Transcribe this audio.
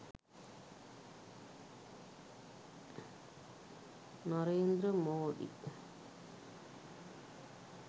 narendra modi